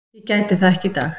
Ég gæti það ekki í dag.